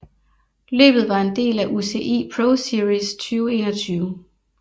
Løbet var en del af UCI ProSeries 2021